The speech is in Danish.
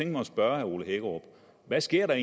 mig at spørge herre ole hækkerup hvad sker der